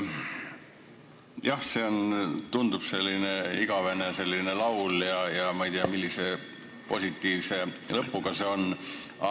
Jah, see tundub selline igavene laul olevat ja ma ei tea, millise positiivse lõpuga see võiks olla.